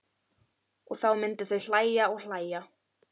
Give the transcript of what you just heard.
Og þá myndu þau hlæja og hlæja.